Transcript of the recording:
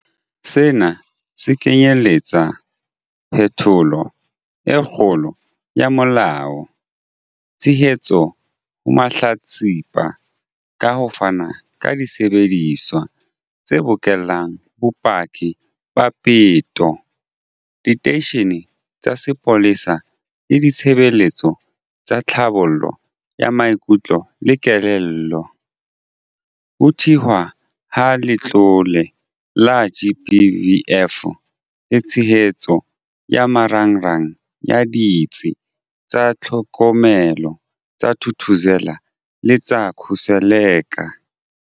Sena se kenyeletsa phetholo e kgolo ya molao, tshehetso ho mahlatsipa ka ho fana ka disebediswa tse bokellang bopaki ba peto diteisheneng tsa sepolesa le ditshebeletso tsa tlhabollo ya maikutlo le kelello, ho thehwa ha Letlole la GBVF le tshehetso ya marangrang a Ditsi tsa Tlhokomelo tsa Thuthuzela le tsa Khuseleka.